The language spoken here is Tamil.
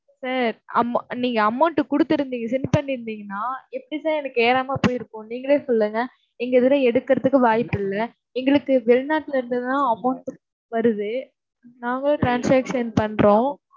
sir amo~ நீங்க amount கொடுத்திருந்தீங்க send பண்ணி இருந்தீங்கன்னா எப்படி சார் எனக்கு ஏறாமல் போயிருக்கும். நீங்களே சொல்லுங்க. இங்க எவரும் எடுக்கறதுக்கு வாய்ப்பில்ல. எங்களுக்கு வெளிநாட்டில இருந்தெல்லாம் amount வருது. நாங்களே transaction பண்றோம்.